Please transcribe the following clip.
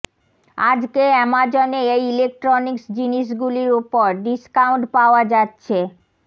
আজকে অ্যামাজনে এই ইলেকট্রনিক্স জিনিস গুলির ওপর ডিস্কাউন্ট পাওয়া যাচ্ছে